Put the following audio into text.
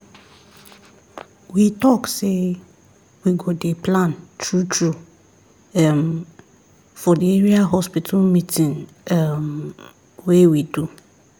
we talk say we go dey plan true true um for the area hospital meeting um wey we do